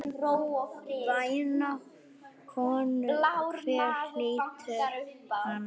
Væna konu, hver hlýtur hana?